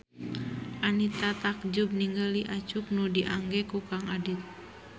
Anita takjub ningali acuk nu diangge ku Kang Adit